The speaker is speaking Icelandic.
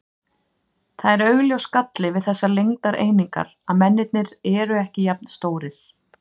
Það er augljós galli við þessar lengdareiningar að mennirnir eru ekki jafn stórir.